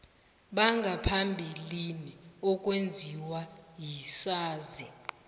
bangaphambilini okwenziwa sisazi